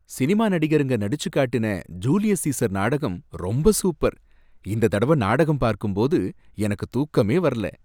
Cinema நடிகருங்க நடிச்சுக் காட்டன ஜூலியஸ் சீசர் நாடகம் ரொம்ப சூப்பர், இந்த தடவ நாடகம் பார்க்கும்போது எனக்குத் தூக்கமே வரல.